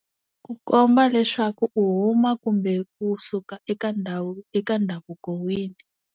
Ku komba leswaku u huma kumbe kusuka eka ndhawu eka ndhavuko wihi.